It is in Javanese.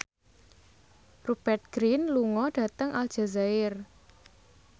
Rupert Grin lunga dhateng Aljazair